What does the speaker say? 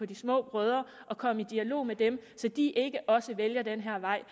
de små brødre og komme i dialog med dem så de ikke også vælger den vej